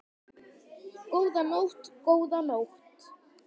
Góða nótt, góða nótt.